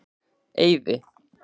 Eiði